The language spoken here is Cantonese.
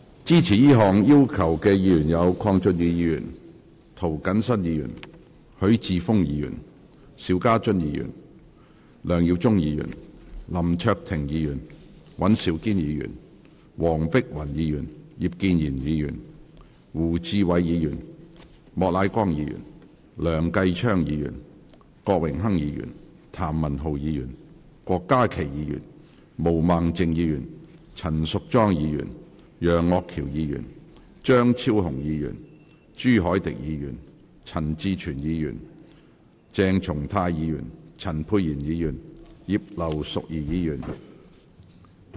支持這項要求的議員有：鄺俊宇議員、涂謹申議員、許智峯議員、邵家臻議員、梁耀忠議員、林卓廷議員、尹兆堅議員、黃碧雲議員、葉建源議員、胡志偉議員、莫乃光議員、梁繼昌議員、郭榮鏗議員、譚文豪議員、郭家麒議員、毛孟靜議員、陳淑莊議員、楊岳橋議員、張超雄議員、朱凱廸議員、陳志全議員、鄭松泰議員、陳沛然議員及葉劉淑儀議員。